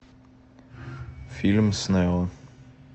фильм с нео